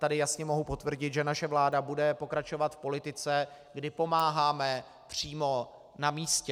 Tady jasně mohu potvrdit, že naše vláda bude pokračovat v politice, kdy pomáháme přímo na místě.